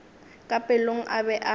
ka pelong a be a